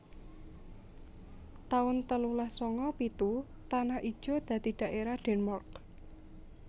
taun telulas sanga pitu Tanah Ijo dadi dhaerah Denmark